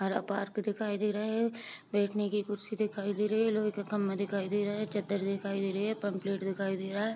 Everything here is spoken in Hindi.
हरा पार्क दिखाई दे रहा है बैठने की कुर्सी दिखाई दे रही है लोहे की खम्भे दिखाई दे रहे हैं चद्दर दिखाई दे रही है पंपलेट दिखाई दे रहा है।